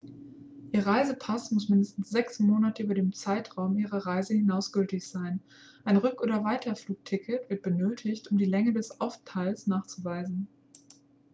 ihr reisepass muss mindestens 6 monate über den zeitraum ihrer reise hinaus gültig sein ein rück oder weiterflugticket wird benötigt um die länge ihres aufenthalts nachzuweisen